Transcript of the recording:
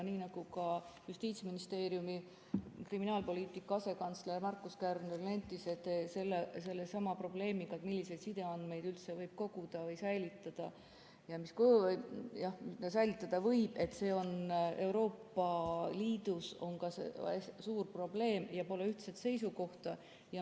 Nii nagu ka Justiitsministeeriumi kriminaalpoliitika asekantsler Markus Kärner nentis sellesama probleemi kohta, milliseid sideandmeid üldse koguda või säilitada võib, siis see on Euroopa Liidus suur probleem ja pole ühtset seisukohta.